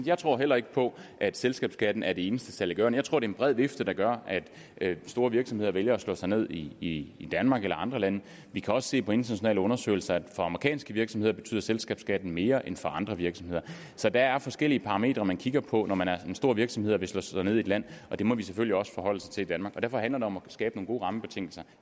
jeg tror heller ikke på at selskabsskatten er det eneste saliggørende jeg tror det er en bred vifte der gør at store virksomheder vælger at slå sig ned i danmark eller andre lande vi kan også se på internationale undersøgelser at for amerikanske virksomheder betyder selskabsskatten mere end for andre virksomheder så der er forskellige parametre man kigger på når man er en stor virksomhed og vil slå sig ned i et land og det må vi selvfølgelig også forholde os til i danmark derfor handler det om at skabe nogle gode rammebetingelser